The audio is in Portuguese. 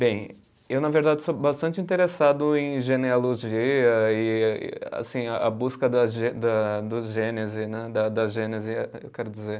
Bem, eu na verdade sou bastante interessado em genealogia e assim a a busca da ge, da do gênese né, da gênese, eh eu quero dizer.